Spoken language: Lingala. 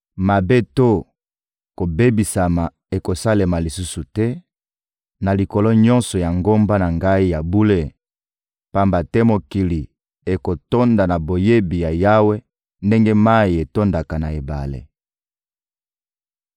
Mabe to kobebisama ekosalema lisusu te na likolo nyonso ya ngomba na Ngai ya bule, pamba te mokili ekotonda na boyebi ya Yawe ndenge mayi etondaka na ebale.